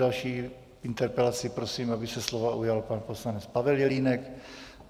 Další interpelací - prosím, aby se slova ujal pan poslanec Pavel Jelínek.